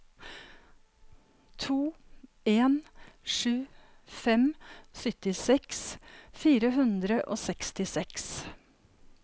to en sju fem syttiseks fire hundre og sekstiseks